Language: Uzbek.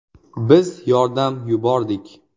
Biz yordam yubordik.